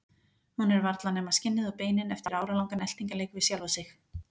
Hún er varla nema skinnið og beinin eftir áralangan eltingarleik við sjálfa sig.